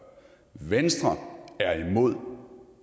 venstre er imod